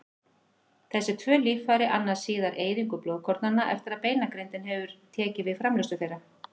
Þessi tvö líffæri annast síðar eyðingu blóðkornanna eftir að beinagrindin hefur tekið við framleiðslu þeirra.